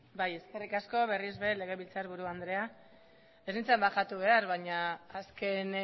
bai eskerrik asko berriz ere legebiltzarburu andrea ez nintzan bajatu behar baina azken